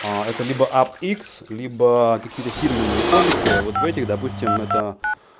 а это либо ап-икс либо какие-то фирменные кодеки вот в этих допустим это